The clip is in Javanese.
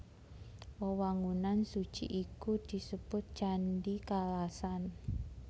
Wewangunan suci iku disebut Candhi Kalasan